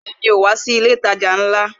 Rárá ,mi ò ní wá sí ilé ìtajà ńlá